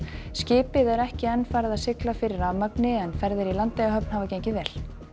skipið er ekki enn farið að sigla fyrir rafmagni en ferðir í Landeyjahöfn hafa gengið vel